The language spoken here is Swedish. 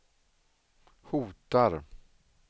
hotar